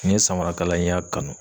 nin ye samarakalan n y'a kanu